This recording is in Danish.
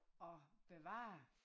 At bevare